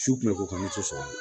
Su kun bɛ k'u kan ne tɛ sɔn